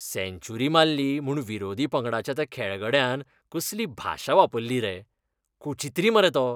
सँच्युरी मारली म्हूण विरोधी पंगडाच्या त्या खेळगड्यान कसली भाशा वापरली रे. कुचित्री मरे तो!